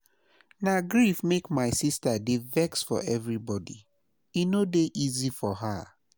Na grief make my sista dey vex for everybodi, e no dey easy for her.